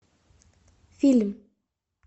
фильм